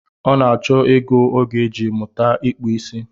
Ọ na-achọ ego ọ ga-eji mụta ịkpụ isi